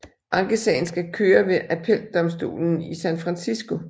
Ankesagen skal køre ved appeldomstolen i San Francisco